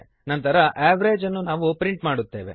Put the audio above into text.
ನಂತರ ಅವೆರೇಜ್ ಅನ್ನು ನಾವು ಪ್ರಿಂಟ್ ಮಾಡುತ್ತೇವೆ